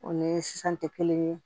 O ni sisan tɛ kelen ye